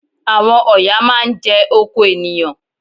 Àwọn ọ̀yà máá ń jẹ oko ènìyàn